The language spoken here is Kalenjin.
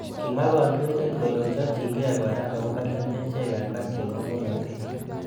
Kimwa kandoindet kole ochopjikei kora akobo lembechek alak chebo bolotet.